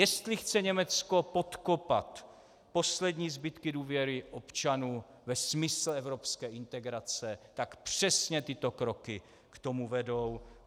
Jestli chce Německo podkopat poslední zbytky důvěry občanů ve smysl evropské integrace, tak přesně tyto kroky k tomu vedou.